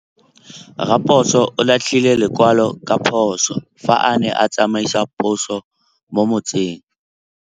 Raposo o latlhie lekwalô ka phosô fa a ne a tsamaisa poso mo motseng.